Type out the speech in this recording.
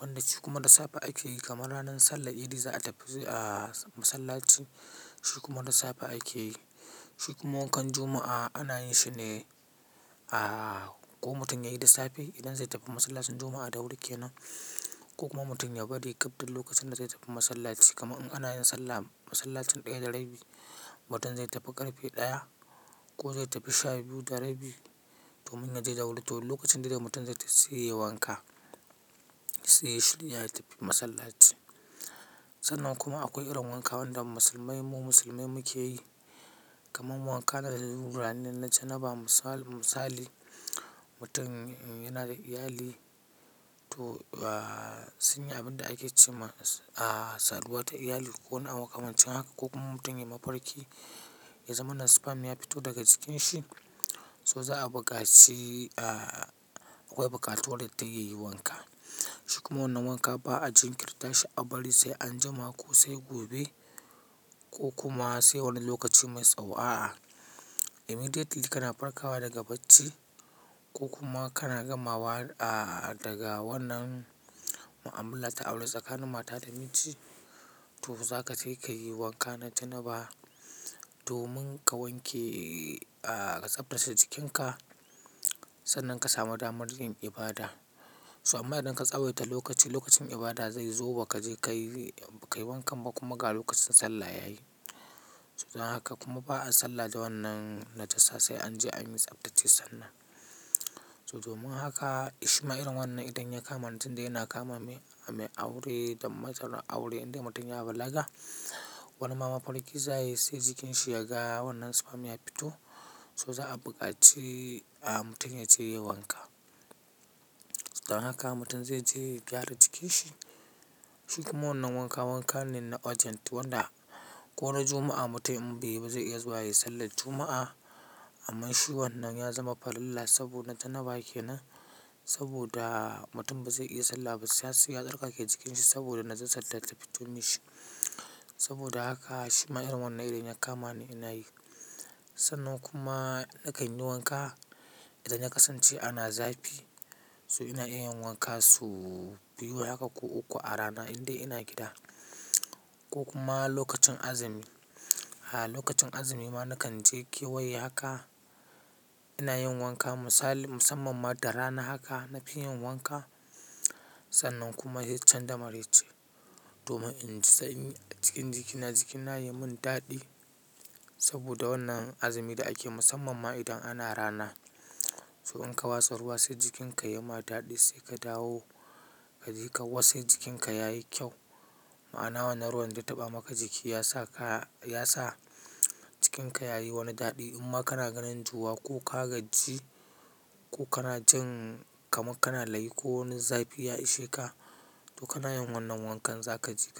wanda shi kuma da safe ake yi kamar ranar Sallah Idi za a tafi, a, masallaci. Shi kuma da safe ake yi. Shi kuma wankan Juma'a ana yin shi ne, a, ko mutum ya yi da safe idan zai tafi masallacin Juma'a da wuri kenan ko kuma mutum ya bari gafda lokacin da zai tafi masallaci. Kamar in ana yin sallah, masallacin ɗaya da rabi, mutum zai tafi ƙarfe ɗaya ko zai tafi sha biyu da rabi domin ya je da wuri. To lokacin da da mutum zai tafi, sai ya yi wanka, sai ya shirya ya tafi masallaci. Sannan kuma akwai irin wanka wanda musulmai mu musulmai muke yi, kamar mu wanka ranar janaba. Misal-misali mutum yana da iyali to, a, sun yi abin da ake ce ma, a, saduwa ta iyali ko wani abu kamar cikin haka ko kuma mutum ya yi mafarki, ya zama na sperm, ya fito daga jikinshi, so za a bukaci, a, akwai bukatu wadda ta yayi wanka. Shi kuma wannan wanka ba a jin kirta shi a bari sai anjima ko sai gobe ko kuma sai wani lokaci mai tsaho. Immediately kana farkawa daga bacci ko kuma kana gama wa, a, daga wannan mu'amala ta aure tsakanin mata da miji, to za ka tafi ka yi wanka na janaba domin ka wanke, a, ka tsaftace jikinka sannan ka samu damar yin ibada. So amma idan ka tsawaita lokaci, lokacin ibada zai zo ba ka je ka yi, ka yi wanka ba kuma ga lokacin sallah ya yi. So dan haka kuma ba a sallah da wannan najasa sai an je an yi tsaftace sannan. So domin haka Ishma'ir wannan idan ya kama ni tun dai ina kama mai, mai aure da matsalar aure idan mutum ya balaga, wannan mama farki za ya yi sai jikinsa ya ga wannan sperm ya fito, so za a bukaci, a, mutum ya je ya yi wanka. So dan haka mutum zai je ya gyara jikinsa. Shi kuma wannan wanka wanka ne na urgent wanda ko ran Juma'a mutum in bai yi ba zai iya zuwa ya yi Sallar Juma'a. Amma shi wannan ya zama farilla saboda janaba kenan. Saboda mutum bazai iya sallah ba sai ya tsarkake jikinshi saboda najasar da ta fito mishi. Saboda haka Ishma'ir wannan idan ya kama ni ina yi. Sannan kuma nakan yi wanka idan ya kasance ana zafi so ina iya yin wanka su biyu haka ko uku a rana indai ina gida. Ko kuma lokacin azumi, a, lokacin azumi ma nakan je kewaye haka ina yin wanka misali musamman ma da rana haka na fi yin wanka. Sannan kuma yin can da marice domin in sa cikin jikina, jikina ya yi mun daɗi saboda wannan azumi da ake musamman ma idan ana rana. So in ka wasa ruwa sai jikinka ya ma daɗi sai ka dawo ka je ka wassa jikinka yayi kyau. Ma'ana wannan ruwan da taɓa maka jiki ya sa ka, ya sa jikinka yayi wani daɗi. Amma kana ganin zuwa ko ka gaji ko kana jin kaman kana layi ko wani zafi ya ishe ka, to kana yin wannan wankan za ka je ka.